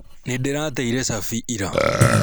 Nĩndĩrateire cabi ira.